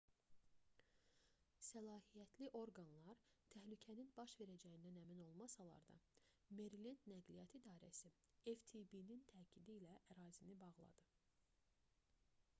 səlahiyyətli orqanlar təhlükənin baş verəcəyindən əmin olmasalar da merilend nəqliyyat i̇darəsi ftb-nin təkidi ilə ərazini bağladı